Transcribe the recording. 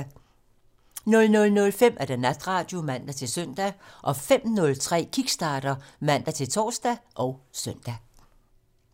00:05: Natradio (man-søn) 05:03: Kickstarter (man-tor og søn)